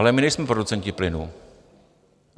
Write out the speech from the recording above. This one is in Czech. Ale my nejsme producenti plynu.